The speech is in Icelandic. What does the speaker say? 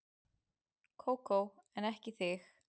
Kókó en ekki þig.